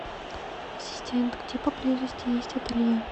ассистент где поблизости есть ателье